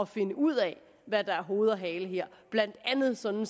finde ud af hvad der er hoved og hale her blandt andet sådan